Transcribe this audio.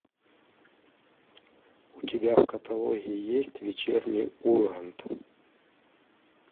у тебя в каталоге есть вечерний ургант